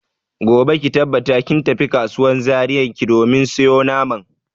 Gobe ki tabbata kin tafi kasuwan Zaria ki domin sayo naman.